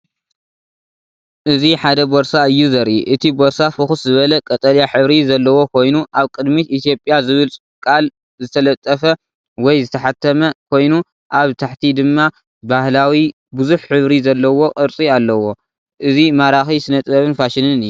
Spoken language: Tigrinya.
እዚ ሓደ ቦርሳ እዩ ዘርኢ። እቲ ቦርሳ ፍኹስ ዝበለ ቀጠልያ ሕብሪ ዘለዎ ኮይኑ፡ኣብ ቅድሚት 'ኢትዮጵያ' ዝብል ቃል ዝተጠልፈ ወይ ዝተሓትመ ኮይኑ፡ኣብ ታሕቲ ድማ ባህላዊ ብዙሕ ሕብሪ ዘለዎ ቅርጺ ኣለዎ። እዚ ማራኺ ስነ ጥበብን ፋሽንን ።